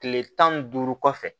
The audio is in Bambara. Kile tan ni duuru kɔfɛ